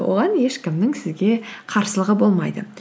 оған ешкімнің сізге қарсылығы болмайды